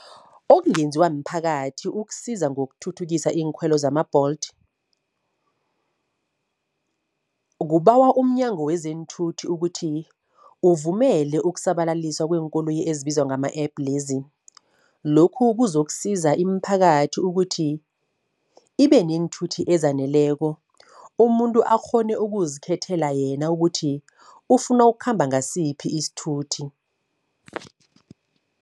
Okungenziwa mphakathi ukusiza ngokuthuthukisa iinkhwelo zama-Bolt. Kubawa umNyango weZeenthuthi ukuthi uvumele ukusabalaliswa kweenkoloyi ezibizwa ngama-app lezi. Lokhu kuzokusiza imiphakathi ukuthi ibe neenthuthi ezaneleko, umuntu akghone ukuzikhethela yena ukuthi ufuna ukukhamba ngasiphi isithuthi.